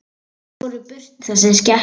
Og fór burt, þessi skepna.